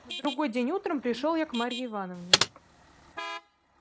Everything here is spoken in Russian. на другой день утром пришёл я к марье ивановне